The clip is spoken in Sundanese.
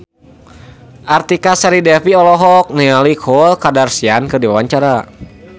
Artika Sari Devi olohok ningali Khloe Kardashian keur diwawancara